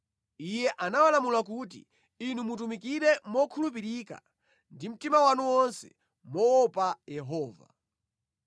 Iye anawalamula kuti, “Inu mutumikire mokhulupirika ndi mtima wanu wonse moopa Yehova.